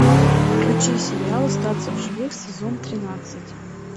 включи сериал остаться в живых сезон тринадцать